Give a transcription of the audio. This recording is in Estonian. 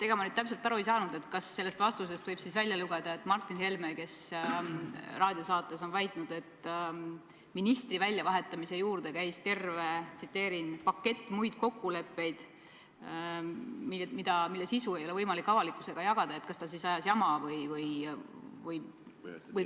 Ega ma nüüd täpselt aru ei saanud, kas sellest vastusest võib välja lugeda, et Martin Helme, kes on raadiosaates väitnud, et ministri väljavahetamise juurde käis terve pakett muid kokkuleppeid, mille sisu ei ole võimalik avalikkusega jagada, ajas siis jama või.